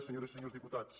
senyores i senyors diputats